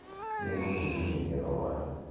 Nĩ ngũgũtinĩrĩa thogora